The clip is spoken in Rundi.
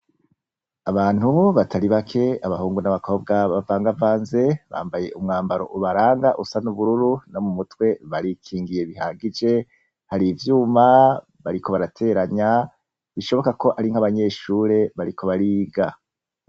Abantu batari bake, abahungu n'abakobwa bavanzevanze bambaye umwambaro ubaranga usa n'ubururu, no mutwe barikingiye bihagije. Har'ivyuma bariko barateranya bishoboka ko ari nka'abanyeshure bariko bariga.